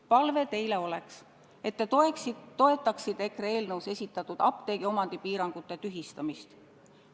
Palve teile oleks, et te toetaksite EKRE eelnõus esitatud apteegiomandi piirangute tühistamist.